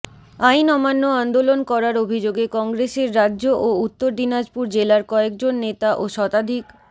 আইন অমান্য আন্দোলন করার অভিযোগে কংগ্রেসের রাজ্য ও উত্তর দিনাজপুর জেলার কয়েকজন নেতা ও শতাধিক